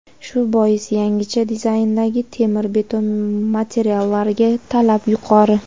Shu bois yangicha dizayndagi temir-beton materiallariga talab yuqori.